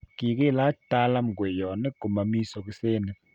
kikilach Talam kweyonik ko mami sokisenik